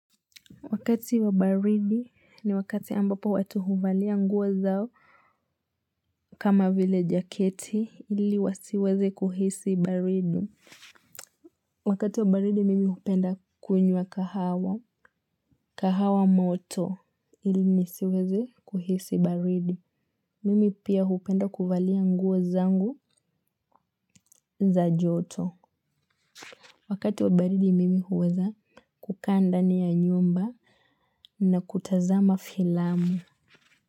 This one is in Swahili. Wakati wa baridi ni wakati ambapo watu huvalia nguo zao kama vile jaketi ili wasiweze kuhisi baridi. Wakati wa baridi mimi hupenda kunywa kahawa moto ili nisiweze kuhisi baridi. Mimi pia hupenda kuvalia nguo zangu za joto. Wakati wa baridi mimi huweza kukaa ndani ya nyumba na kutazama filamu.